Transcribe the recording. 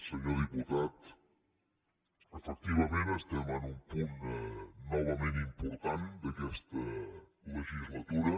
senyor diputat efectivament estem en un punt novament important d’aquesta legislatura